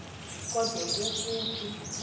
kode kofu phi